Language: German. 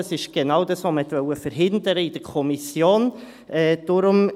Das ist genau das, was man in der Kommission verhindern wollte.